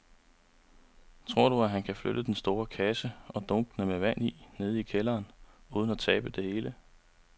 Tror du, at han kan flytte den store kasse og dunkene med vand ned i kælderen uden at tabe det hele?